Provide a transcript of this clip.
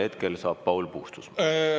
Hetkel saab sõna Paul Puustusmaa.